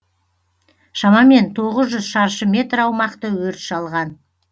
шамамен тоғыз жүз шаршы метр аумақты өрт шалған